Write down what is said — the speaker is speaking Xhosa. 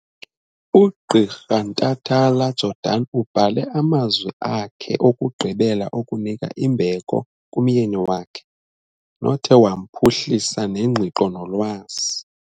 UGqirha Ntatala-Jordan ubhale amazwi akhe okugqibela okunika imbeko kumyeni wakhe, nothe wamphuhlisa ngengqiqo nolwazi.